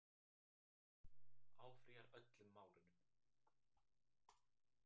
Áfrýjar öllum málunum